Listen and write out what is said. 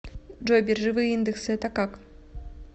джой биржевые индексы это как